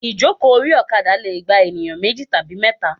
Ìjókòó orí òkadà leè gba ènìyán méjì tàbí méta